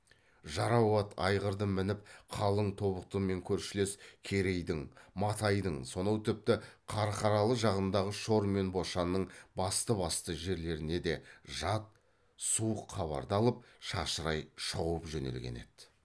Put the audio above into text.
жарау ат айғырды мініп қалың тобықтымен көршілес керейдің матайдың сонау тіпті қарқаралы жағындағы шор мен бошанның басты басты жерлеріне де жат суық хабарды алып шашырай шауып жөнелген ді